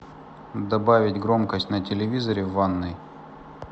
добавить громкость на телевизоре в ванной